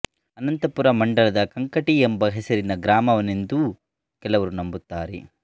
ಅನಂತಪುರ ಮಂಡಲದ ಕಂಕಂಟಿ ಎಂಬ ಹೆಸರಿನ ಗ್ರಾಮದವನೆಂದೂ ಕೆಲವರು ನಂಬುತ್ತಾರೆ